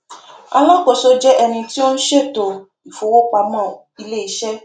alákòóso jẹ ẹni tí ó n ṣètò ìfowópamọ iléiṣẹ